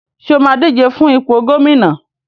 Ṣé o máa díje fún ipò gómìnà?